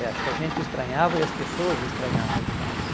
é, acho que a gente estranhava e as pessoas estranhavam demais.